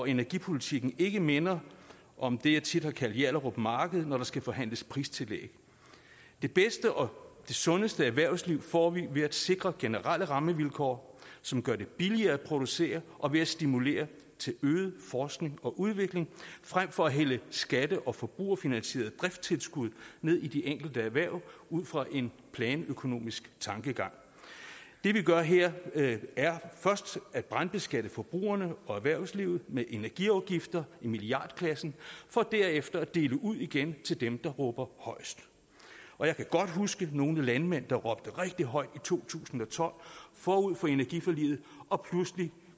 energipolitikken ikke minder om det jeg tit har kaldt hjallerup marked når der skal forhandles pristillæg det bedste og sundeste erhvervsliv får vi ved at sikre generelle rammevilkår som gør det billigere at producere og ved at stimulere til øget forskning og udvikling frem for at hælde skatte og forbrugerfinansierede driftstilskud ned i de enkelte erhverv ud fra en planøkonomisk tankegang det vi gør her er først at brandbeskatte forbrugerne og erhvervslivet med energiafgifter i milliardklassen for derefter at dele ud igen til dem der råber højest jeg kan godt huske nogle landmænd der råbte rigtig højt i to tusind og tolv forud for energiforliget og pludselig